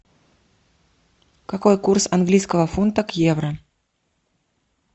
какой курс английского фунта к евро